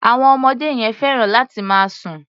Àwọn ọmọdé yẹn fẹ́ràn láti máa sùn.